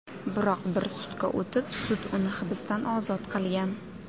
Biroq bir sutka o‘tib, sud uni hibsdan ozod qilgan.